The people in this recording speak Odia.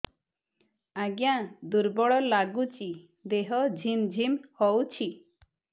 ଆଜ୍ଞା ଦୁର୍ବଳ ଲାଗୁଚି ଦେହ ଝିମଝିମ ହଉଛି